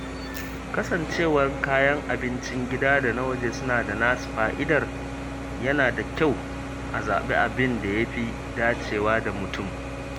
Kasancewar kayan abincin gida da na waje suna da nasu fa’idar, yana da kyau a zaɓi abin da ya fi dacewa da mutum.